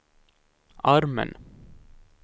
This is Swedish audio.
armen